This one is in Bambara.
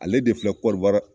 Ale de filɛ korowari